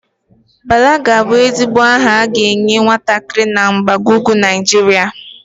Bala ga-abụ ezigbo aha a ga-enye nwatakịrị na mgbago ugwu Naịjirịa.